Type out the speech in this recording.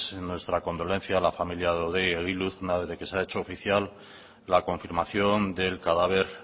nuestra condolencia a la familia de hodei egiluz una vez de que se ha hecho oficial la confirmación del cadáver